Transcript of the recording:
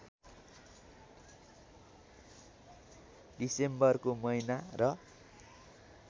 डिसेम्बरको महिना र